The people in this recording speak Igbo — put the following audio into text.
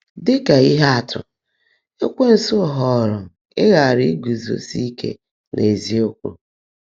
Dị́ kà íhe ạ́tụ́, Ékwénsu họọrọ́ íghàrà ‘ígúzósí íke n’ézíokwú́.’